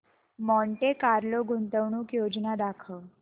Monte Carlo गुंतवणूक योजना दाखव